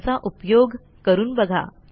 त्यांचा उपयोग करून बघा